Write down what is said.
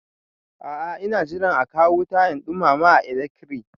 A a ina jiran a kawo wuta in ɗumama a ilekri.